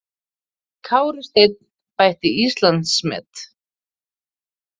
Kári Steinn bætti Íslandsmet